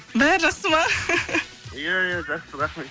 бәрі жақсы ма иә иә жақсы рахмет